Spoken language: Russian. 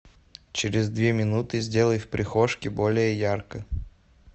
через две минуты сделай в прихожке более ярко